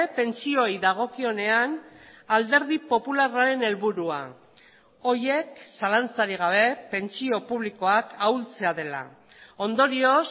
pentsioei dagokionean alderdi popularraren helburua horiek zalantzarik gabe pentsio publikoak ahultzea dela ondorioz